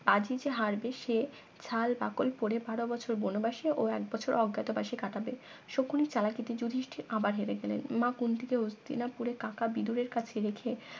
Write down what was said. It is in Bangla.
আজি যে হারবে সে ছাল বাকল বারো বছর বনবাসে ও এক বছর অজ্ঞাতবাসে কাটাবে শকুনি চালাকিতে যুদিষ্টীর আবার হেরে গেলেন মা কুন্থী কে হস্থিনাথপুরে কাকা বিদুরের কাছে রেখে